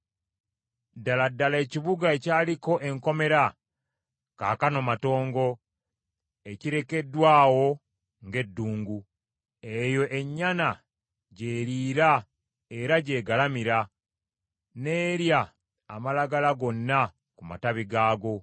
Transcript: Ddala ddala ekibuga ekyaliko enkomera kaakano matongo, ekirekeddwa awo ng’eddungu. Eyo ennyana gy’eriira era gy’egalamira, n’erya amalagala gonna ku matabi gaago.